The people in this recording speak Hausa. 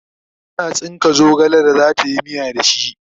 tana tsinka zogale da zatayi miya da shi